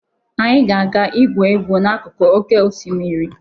Anyị ga-aga igwu egwu n'akụkụ oké osimiri.